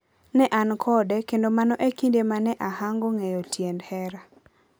Ne an kode, kendo mano e kinde ma ne ahango ng'eyo tiend hera.